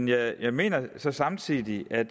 jeg mener samtidig at